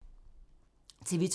TV 2